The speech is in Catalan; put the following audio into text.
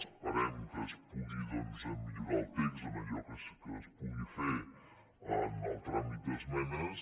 esperem que es pugui doncs millorar el text en allò que es pugui fer en el tràmit d’esmenes